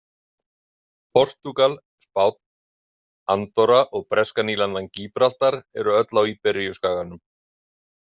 Portúgal, Spánn, Andorra og breska nýlendan Gíbraltar eru öll á Íberíuskaganum.